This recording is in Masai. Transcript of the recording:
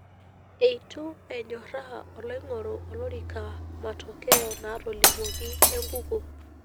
Eitu enyoraa oloingoru olorika matokeo naatolimuoki enkukuo.